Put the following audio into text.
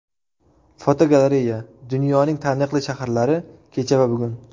Fotogalereya: Dunyoning taniqli shaharlari kecha va bugun.